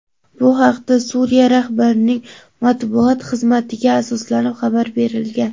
Bu haqda Suriya rahbarining matbuot xizmatiga asoslanib xabar berilgan.